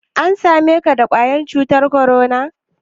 An same ka da ƙwayar cutan korona?